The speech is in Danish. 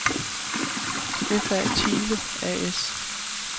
F.A. Thiele A/S